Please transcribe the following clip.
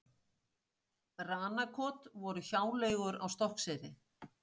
Ranakot voru hjáleigur á Stokkseyri.